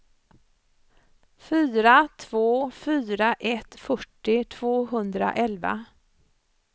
fyra två fyra ett fyrtio tvåhundraelva